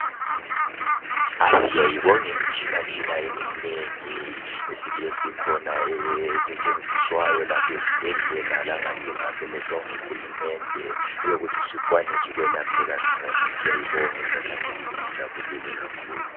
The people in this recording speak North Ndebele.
Siyayibonga imitshinatshina eminengi esikhona esetshenziswayo lapho ezibhedlela langaphingaphi ilethwa nguHulumende eyokuthi sikwanise ukuyelapheka ngcono , siyayibonga izakhamizi zijabulile kakhulu.